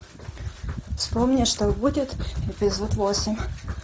вспомни что будет эпизод восемь